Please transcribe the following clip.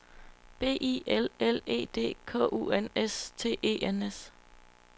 B I L L E D K U N S T E N S